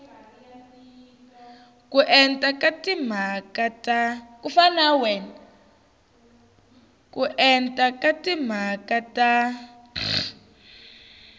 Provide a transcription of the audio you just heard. ko enta ka timhaka ta